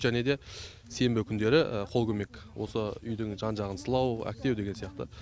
және де сенбі күндері қолкөмек осы үйдің жан жағын сылау әктеу деген сияқты